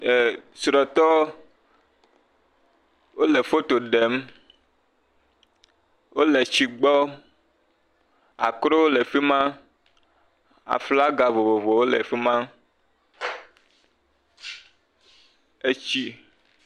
e srɔtɔ wóle fotoɖem wóle tsi gbɔ akrowo le fima aflaga vovovowo le' fima etsi